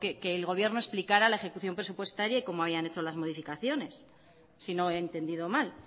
que el gobierno explicará la ejecución presupuestaria y cómo habían hecho loas modificaciones si no he entendido mal